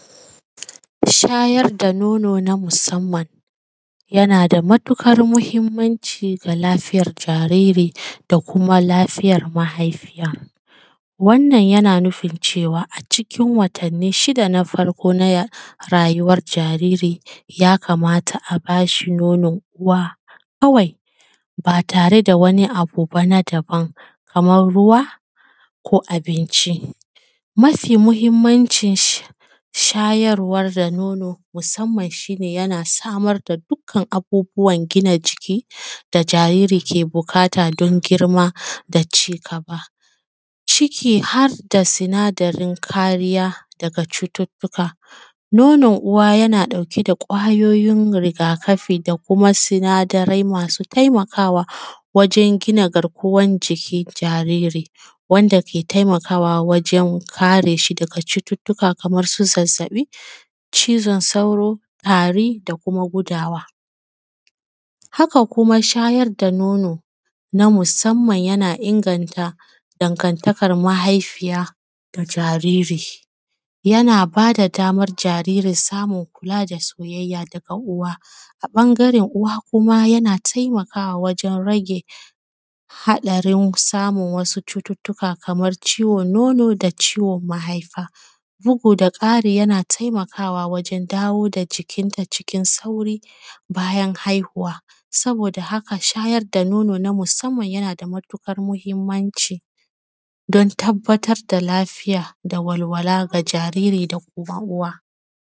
Shayar da nono na musamman yana da matuƙar muhimmanci ga lafiyar jariri da kuma lafiyar mahaifiya. Wannan yana nufin cewa a cikin watani shida na farko na rayuwar jariri ya kamata a bashi nonon uwa kawai, batare da wani abuba na dabam kaman ruwa, ko abinci, mafi muhimmanci shayarwa da nono musamman shi ne yana samar da abubuwan gini jiki da jariri ke buƙata don girma da ci gaba, ciki har da sinadarin kariya daga cututuka. Nonon uwa yana ɗauke da kwayoyin rigakafi da kuma sinadarai masu taimakawa wajen gina garkuwan jikin jariri, wanda ke taimakawa wajen kare shi daga cututuka kaman su zazzabi, cizon sauro, tari, da kuma gudawa. Haka kuma shayar da nono na musamman yana inganta dangantakan mahaifiya da jariri, yana bada daman jariri samun kula da soyayya daga uwa,a ɓangaren uwa kuma yana taimakawa wajen rage haɗarin samun wasu cututuka kamar ciwon nono da ciwon mahaifa, bugu da kari yana taimakawa wajen dawo da jikinta cikin sauri bayan haihuwa. Saboda haka shayar da nono na musamman yana da matuƙar muhimmanci don tabbatar da lafiya da walwala ga jariri da kuma uwa.